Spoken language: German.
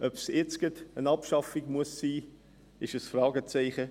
Ob es jetzt gleich eine Abschaffung sein müsse, dahinter setzen wir ein Fragezeichen.